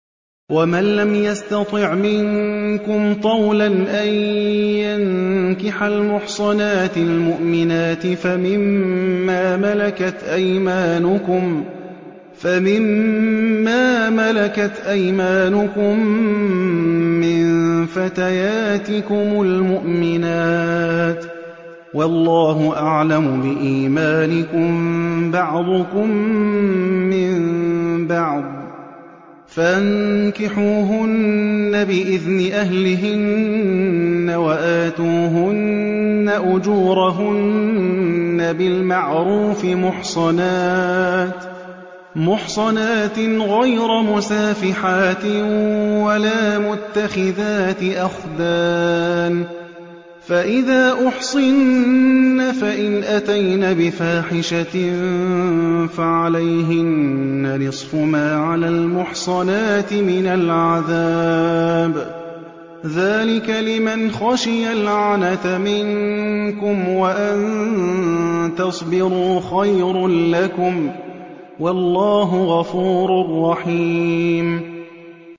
وَمَن لَّمْ يَسْتَطِعْ مِنكُمْ طَوْلًا أَن يَنكِحَ الْمُحْصَنَاتِ الْمُؤْمِنَاتِ فَمِن مَّا مَلَكَتْ أَيْمَانُكُم مِّن فَتَيَاتِكُمُ الْمُؤْمِنَاتِ ۚ وَاللَّهُ أَعْلَمُ بِإِيمَانِكُم ۚ بَعْضُكُم مِّن بَعْضٍ ۚ فَانكِحُوهُنَّ بِإِذْنِ أَهْلِهِنَّ وَآتُوهُنَّ أُجُورَهُنَّ بِالْمَعْرُوفِ مُحْصَنَاتٍ غَيْرَ مُسَافِحَاتٍ وَلَا مُتَّخِذَاتِ أَخْدَانٍ ۚ فَإِذَا أُحْصِنَّ فَإِنْ أَتَيْنَ بِفَاحِشَةٍ فَعَلَيْهِنَّ نِصْفُ مَا عَلَى الْمُحْصَنَاتِ مِنَ الْعَذَابِ ۚ ذَٰلِكَ لِمَنْ خَشِيَ الْعَنَتَ مِنكُمْ ۚ وَأَن تَصْبِرُوا خَيْرٌ لَّكُمْ ۗ وَاللَّهُ غَفُورٌ رَّحِيمٌ